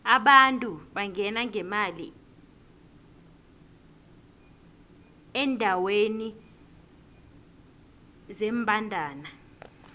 abantu bangena ngemali endeweni zembandana